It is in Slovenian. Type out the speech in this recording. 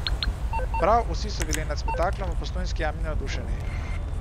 Prav vsi so bili nad spektaklom v Postojnski jami navdušeni.